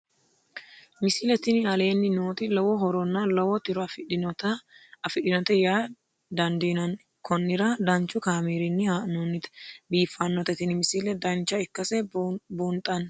misile tini aleenni nooti lowo horonna lowo tiro afidhinote yaa dandiinanni konnira danchu kaameerinni haa'noonnite biiffannote tini misile dancha ikkase buunxanni